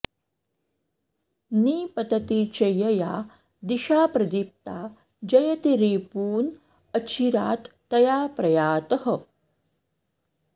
निपतति च यया दिशा प्रदीप्ता जयति रिपून् अचिरात् तया प्रयातः